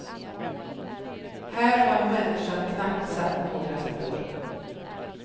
Här har människan knappt satt några spår.